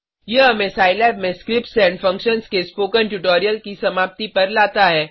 यह हमें सिलाब में स्क्रिप्ट्स एंड फंक्शंस के स्पोकन ट्यूटोरियल की समाप्ति पर लाता है